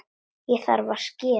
Þá þarf að skera.